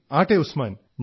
ആട്ടെ ഉസ്മാൻ